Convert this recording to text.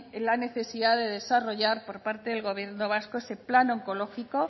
la necesidad de desarrollar por parte del gobierno vasco ese plan oncológico